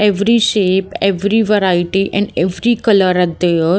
Every shape every variety and every color are there.